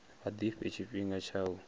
vha ḓifhe tshifhinga tsha u